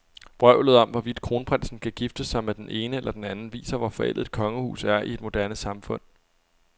Vrøvlet om, hvorvidt kronprinsen kan gifte sig med den ene eller den anden, viser, hvor forældet et kongehus er i et moderne samfund.